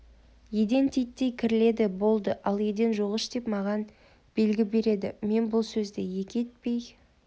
еден титтей кірледі болды ал еден жуғыш деп маған белгі береді мен бұл сөзді екі етпей